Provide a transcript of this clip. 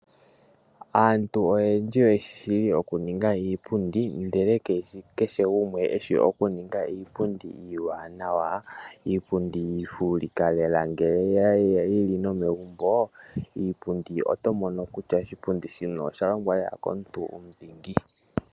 Aantu oyendji oye shishi oku ninga iipundi ndele kayishi kehe gumwe eshi oku ninga iipundi iwanawa. Iipundi ifulika lela ngele yili nomegumbo. Oto mono kutya oshipundi shino osha longwa lela komuntu omudhingi.